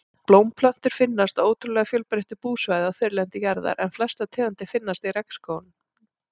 Blómplöntur finnast á ótrúlega fjölbreytilegu búsvæði á þurrlendi jarðar en flestar tegundir finnast í regnskógunum.